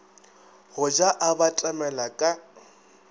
go ja a batamela ka